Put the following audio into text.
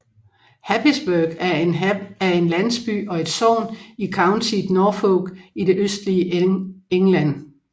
Happisburgh er en landsby og et sogn i countiet Norfolk i det østlige England